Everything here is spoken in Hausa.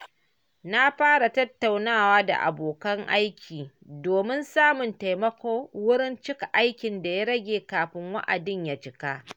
Na fara tattaunawa da abokan aiki domin samun taimako wurin cika aikin da ya rage kafin wa’adin ya cika.